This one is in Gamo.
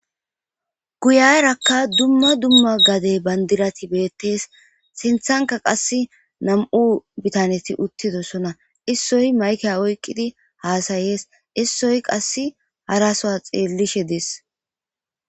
guyarakka dumma dumma gadey bandirati beettees sinthanka qass nam7u bitaneti uttidosona issoy mayke oykqidi haasayees issoy qass harasoa xiellishe dees